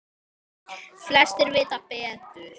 Flestir vita betur.